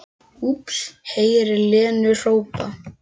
Heyrir Lenu hrópa